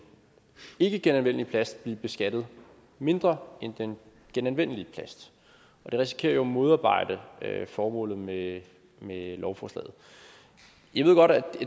ikkegenanvendelige plast blive beskattet mindre end den genanvendelige plast og det risikerer jo at modarbejde formålet med lovforslaget jeg ved godt at